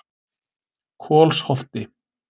Kolsholti